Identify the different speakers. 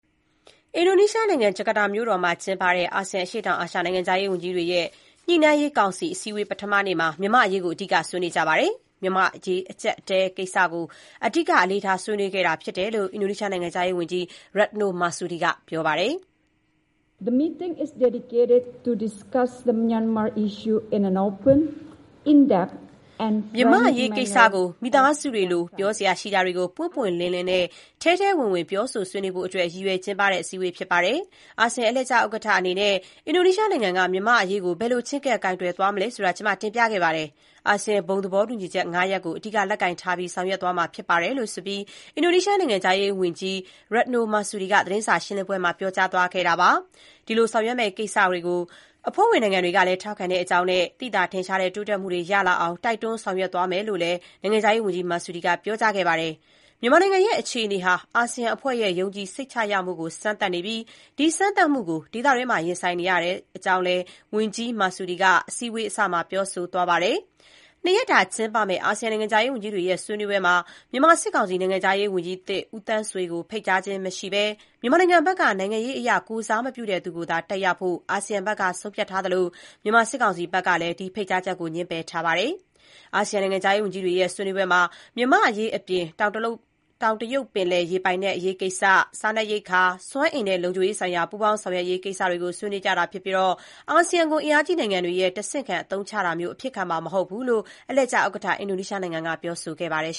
Speaker 1: အင်ဒိုနီးရှားနိုင်ငံ ဂျာကာတာမြို့တော်မှာ ကျင်းပတဲ့ အာဆီယံ အရှေ့တောင်အာရှ နိုင်ငံခြားရေး ဝန်ကြီးတွေရဲ့ ညှိနိုင်းရေးကောင်စီ အစည်းအဝေး ပထမနေ့မှာ မြန်မာ့အရေးကို အဓိကဆွေးနွေးကြပါတယ်။ မြန်မာ့နိုင်ငံရေးအကျပ်အတည်းကိစ္စ အဓိက အလေးထား ဆွေးနွေးခဲ့တဲ့အကြောင်း အင်ဒိုနီးရှားနိုင်ငံခြားရေးဝန်ကြီး Retno Marsudi က ပြောကြားပါတယ်။
Speaker 2: “မြန်မာ့အရေးကိစ္စကို မိသ
Speaker 1: ားစုတွေလို ပြောစရာရှိတာတွေကို ပွင့်ပွင့်လင်းလင်းနဲ့ ထဲထဲဝင်ဝင် ပြောဆို ဆွေးနွေးဖို့အတွက် ရည်ရွယ် ကျင်းပတဲ့ အစည်းအဝေးဖြစ်ပါတယ်။ အာဆီယံ အလှည့်ကျဥက္ကဋ္ဌ အနေနဲ့ အင်ဒိုနီးရှားနိုင်ငံက မြန်မာ့အရေးကို ဘယ်လို ချဉ်းကပ် ကိုင်တွယ်သွားမလဲ ဆိုတာ ကျမ တင်ပြခဲ့ပါတယ်။ အာဆီယံ ဘုံသဘောတူညီချက် ၅ ရပ်ကို အဓိက လက်ကိုင်ထားပြီး ဆောင်ရွက်သွားမှာဖြစ်ပါတယ်။” - လို့ အင်ဒိုနီးရှားနိုင်ငံခြားရေးဝန်ကြီး Retno Marsudi က သတင်းစာရှင်းပွဲမှာ ပြောကြားသွားခဲ့ပါတယ်။ ဒီလိုဆောင်ရွက်မယ့်ကိစ္စကို အဖွဲ့ဝင်နိုင်ငံတွေကလည်း ထောက်ခံကြောင်းနဲ့ သိသာထင်ရှားတဲ့ တိုးတက်မှုတွေ ရလာအောင် တိုက်တွန်း ဆောင်ရွက်သွားမယ်လို့လည်း နိုင်ငံခြားရေးဝန်ကြီး Marsudi ကပြောကြားခဲ့ပါတယ်။ မြန်မာနိုင်ငံရဲ့ အခြေအနေဟာ အာဆီယံအဖွဲ့ရဲ့ ယုံကြည်စိတ်ချရမှုကို စမ်းသပ်နေပြီး ဒီစမ်းသပ်မှုကို ဒေသတွင်းမှာရင်ဆိုင်နေရတဲ့ အကြောင်းလည်း ဝန်ကြီး Retno Marsudi အစည်းအဝေးအစမှာ ပြောဆိုသွားပါတယ်။ ၂ ရက်တာ ကျင်းပမယ့် အာဆီယံ နိုင်ငံခြားရေးဝန်ကြီးတွေရဲ့ ဆွေးနွေးပွဲမှာ မြန်မာစစ်ကောင်စီနိုင်ငံခြားရေးဝန်ကြီးသစ် ဦးသန်းဆွေကို ဖိတ်ကြားခြင်းမရှိဘဲ၊ မြန်မာနိုင်ငံဘက်က နိုင်ငံရေးအရ ကိုယ်စားမပြုတဲ့သူကိုသာ တက်ရောက်ဖို့ အာဆီယံဘက်က ဆုံးဖြတ်ထားသလို မြန်မာစစ်ကောင်စီ ဘက်ကလည်း ဒီဖိတ်ကြားချက်ကို ငြင်းပယ်ထားပါတယ်။ အာဆီယံ နိုင်ငံခြားရေးဝန်ကြီးတွေရဲ့ ဆွေးနွေးပွဲမှာ မြန်မာ့အရေးအပြင် တောင်တရုတ်ပင်လယ် ရေပိုင်နက်အရေးကိစ္စ၊ စားနပ်ရိက္ခာ၊ စွမ်းအင်နဲ့ လုံခြုံရေးဆိုင်ရာ ပူးပေါင်းဆောင်ရွက်ရေးကိစ္စတွေ ဆွေးနွေးကြတာဖြစ်ပြီး အာဆီယံကို အင်အားကြီးနိုင်ငံတွေရဲ့ တဆင့်ခံ အသုံးချတာမျိုး အဖြစ်ခံမှာ မဟုတ်ဘူးလို့ အလှည့်ကျ ဥက္ကဋ္ဌ အင်ဒိုနီးရှားနိုင်ငံက ပြောဆိုပါတယ်